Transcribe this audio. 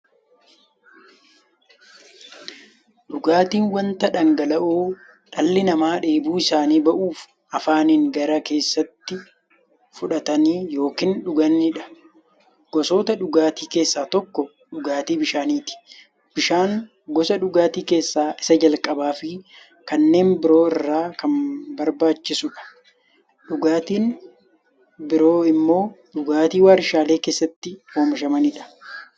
Dhugaatiin wanta dhangala'oo dhalli namaa dheebuu isaanii ba'uuf, afaaniin gara keessaatti fudhatan yookiin dhuganiidha. Gosoota dhugaatii keessaa tokko dhugaatii bishaaniti. Bishaan gosa dhugaatii keessaa isa jalqabaafi kanneen biroo irra kan barbaachisuudha. Dhugaatiin biroo immoo dhugaatii waarshalee keessatti oomishamaniidha.